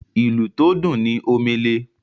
ìlù tó dùn ní Omele.